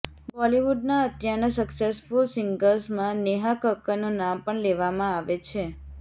બોલિવૂડના અત્યારના સક્સેસફુલ સિંગર્સમાં નેહા કક્કરનું નામ પણ લેવામાં આવે છે